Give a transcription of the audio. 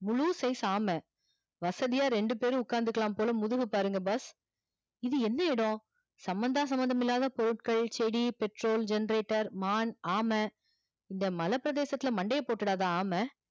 முழு size ஆம வசதியா ரெண்டு பேர் ஒகாந்துககுலா போல மோதுகு பாருங்க boss இது என்ன இடம் சம்மந்தா சம்மதம் இல்ல பொருட்கள் செடி petrol generator மான் ஆம இந்த மல பிரதேசதுள்ள மண்டைய போட்டுறதா இந்த ஆம